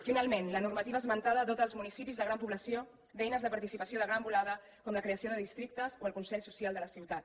finalment la normativa esmentada dota els municipis de gran població d’eines de participació de gran volada com la creació de districtes o el consell social de la ciutat